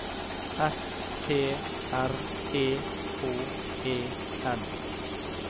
S T R E K E N